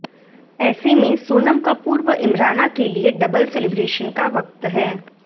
ऐसे में सोनम कपूर व इमराना के लिए डबल सेलिब्रेशन का वक्त है